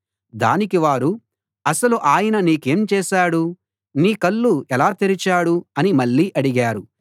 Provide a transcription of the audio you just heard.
దానికి వారు అసలు ఆయన నీకేం చేశాడు నీ కళ్ళు ఎలా తెరిచాడు అని మళ్ళీ అడిగారు